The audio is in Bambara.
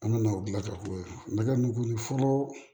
An nana o gilataw la n ka nin ko in fɔlɔ